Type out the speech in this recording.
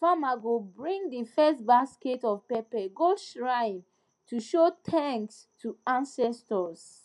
farmer go bring the first basket of pepper go shrine to show thanks to ancestors